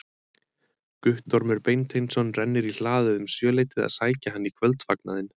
Guttormur Beinteinsson rennir í hlaðið um sjöleytið að sækja hann í kvöldfagnaðinn.